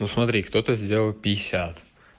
ну смотри кто-то сделал пятьдесят